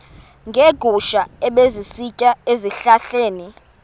neegusha ebezisitya ezihlahleni